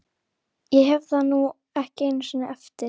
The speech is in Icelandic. Nei, sjáiði hver er kominn úr skólanum